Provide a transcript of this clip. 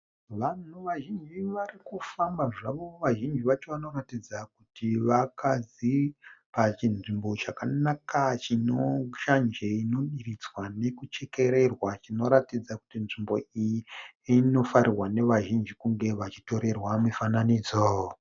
Vanhu vazhinji varikufamba zvavo, vazhinji vacho vanoratidza kuti vakadzi pachinzvimbo chakanaka chinoshanje inodiridzwa nekuchererwa, chinoratidza kuti nzvimbo iyi inofarirwa nevazhinji kunge vachitorerwa mifananidzo